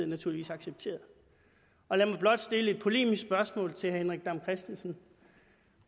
naturligvis accepteret lad mig blot stille et polemisk spørgsmål til herre henrik dam kristensen